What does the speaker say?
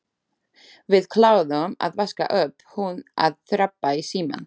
Við kláruðum að vaska upp, hún að rabba í símann.